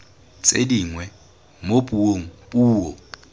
tse dingwe mo puong puo